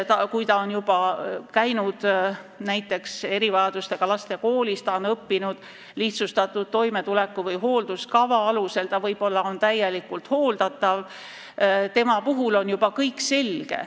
Kui ta on käinud näiteks erivajadustega laste koolis, on õppinud lihtsustatud toimetuleku- või hoolduskava alusel, ta on võib-olla täielikult hooldatav, siis on juba kõik selge.